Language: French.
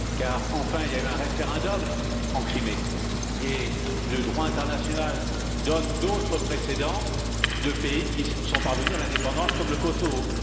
Car enfin, il y a eu un référendum en Crimée et le droit international donne d'autres précédents de pays qui sont parvenus à l'indépendance comme le Kosovo.